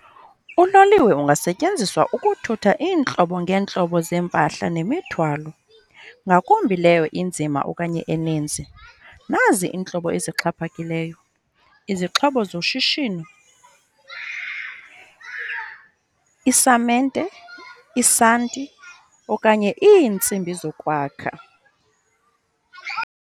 Uloliwe ungasetyenziswa ukuthutha iintlobo ngeentlobo zeempahla nemithwalo ngakumbi leyo inzima okanye eninzi. Nazi iintlobo ezixhaphakileyo, izixhobo zoshishino, isamente, isanti okanye iintsimbi zokwakha.